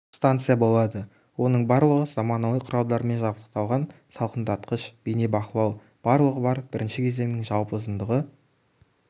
станция болады оның барлығы заманауи құралдармен жабдықталған салқындатқыш бейне бақылау барлығы бар бірінші кезеңнің жалпы ұзындығы